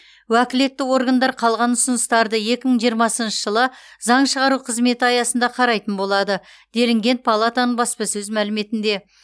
уәкілетті органдар қалған ұсыныстарды екі мың жиырмасыншы жылы заң шығару қызметі аясында қарайтын болады делінген палатаның баспасөз мәліметінде